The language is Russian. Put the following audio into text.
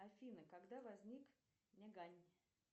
афина когда возник нягань